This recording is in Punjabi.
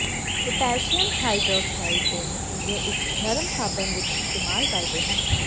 ਪੋਟਾਸ਼ੀਅਮ ਹਾਈਡ੍ਰੌਕਸਾਈਡ ਦੇ ਨਤੀਜੇ ਇੱਕ ਨਰਮ ਸਾਬਣ ਵਿੱਚ ਇਸਤੇਮਾਲ ਕਰਦੇ ਹਨ